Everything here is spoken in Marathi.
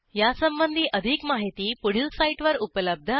यासंबंधी अधिक माहिती पुढील साईटवर उपलब्ध आहे